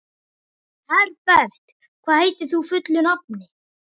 Herbert, hvað heitir þú fullu nafni?